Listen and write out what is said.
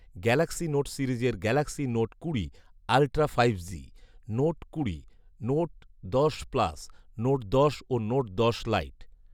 Galaxy note সিরিজের Galaxy note কুড়ি ultra five G, note কুড়ি, নোট দশ প্লাস, নোট দশ ও নোট দশ লাইট